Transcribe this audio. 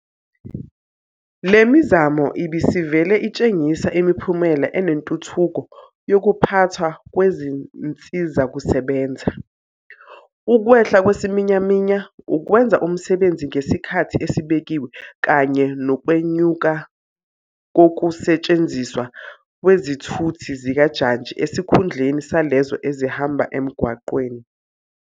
Le mizamo ibisivele itshengisa imiphumela enentuthuko yokuphathwa kwezinsizakusebenza, ukwehla kwesiminyaminya, ukwenza umsebenzi ngesikhathi esibekiwe kanye nokwenyuka kokuse tshenziswa kwezithuthi zikajantshi esikhundleni salezo ezihamba emgwaqeni.